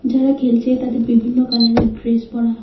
যারা খেলছে তাদের বিভিন্ন কালারের ড্রেস পড়া।